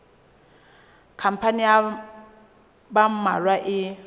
khampani ya ba mmalwa e